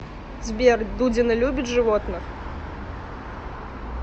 сбер дудина любит животных